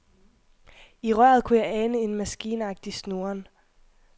I røret kunne jeg ane en maskinagtig snurren.